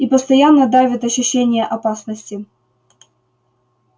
и постоянно давит ощущение опасности